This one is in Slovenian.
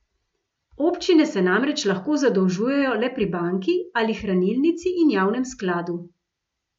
Občine se namreč lahko zadolžujejo le pri banki ali hranilnici in javnem skladu.